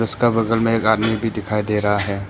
इसका बगल में एक आदमी भी दिखाई दे रहा है।